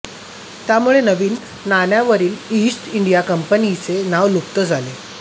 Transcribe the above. त्यामुळे नवीन नाण्यांवरील ईस्ट इंडिया कंपनीचे नाव लुप्त झाले